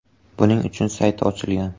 Buning uchun sayti ochilgan.